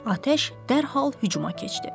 Atəş dərhal hücuma keçdi.